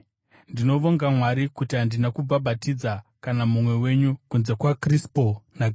Ndinovonga Mwari kuti handina kubhabhatidza kana mumwe wenyu, kunze kwaKrispo naGayo,